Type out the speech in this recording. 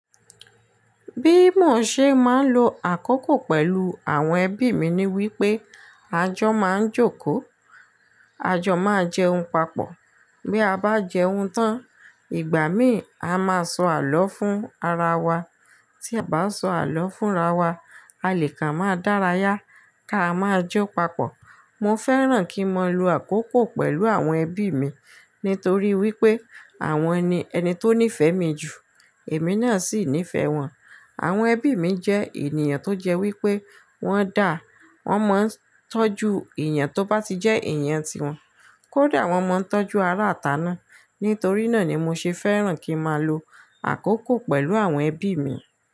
Bí mo ṣe máa ń lo àkókò pẹ̀lú àwọn ẹbí mi ni wípé a jọ máa ń jókòó, a jọ máa jẹun papọ̀. Bí a bá jẹun tán, ìgbà mi a máa sọ àló fún ara wa. Tí a bá sọ àló fúnra wa, a lè kà máa dárayá, ká máa jó papọ̀. Mo fẹ́ràn kí n máa lo àkókò pẹ̀lú àwọn ẹbí mi nítorí wípé àwọn ni ẹni tó nífẹ̀ẹ́ mi jù, èmi náà sì nífẹ̀ẹ́ wọn. Àwọn ẹbí mi jẹ́ ènìyàn tó jẹ́ wípé wọ́n da, wọ́n mọ ń tọ́jú èèyàn tó bá ti jẹ́ èèyàn tiwọn, kódà wọ́n mọ ń tọ́jú ará àtà náà. Nítorí náà ni mo ṣe fẹ́ràn kí n máa lo àkókò pẹ̀lú àwọn ẹbí mi.